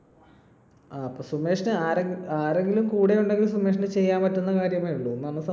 ങ്ഹാ. അപ്പൊ സുമേഷിന് ആരെങ്കിലും കൂടെയുണ്ടെങ്കിൽ സുമേഷിന് ചെയ്യാൻ പറ്റുന്ന കാര്യമേയുള്ളു.